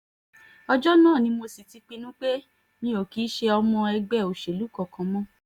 ọjọ́ náà ni mo sì ti pinnu pé mi ò kì í ṣe ọmọ ẹgbẹ́ òṣèlú kankan mọ́